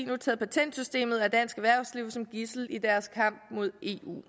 nu taget patentsystemet og dansk erhvervsliv som gidsel i deres kamp mod eu